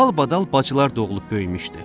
Dalbadal bacılar doğulub böyümüşdü.